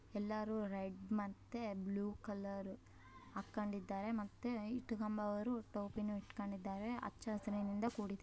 ಎಲ್ಲರು ರೆಡ್ ಮತ್ತೆ blue colour ಹಾಕೊಂಡಿದ್ದರೆ ಮತ್ತೆ ಇಟ್ಕೊಮರು ಟೋಪಿಯನ್ನ ಇಟ್ಕೊಂಡಿದಾರೆ ಹಚ್ಚಹಸಿರಿನಿಂದ ಕೂಡಿದೆ.